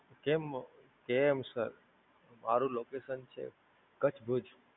કેમ, કેમ Sir? મારૂ Location છે કચ્છ ભુજ.